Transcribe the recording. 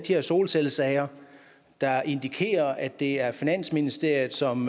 her solcellesager der indikerer at det er finansministeriet som